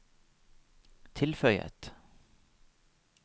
tilføyet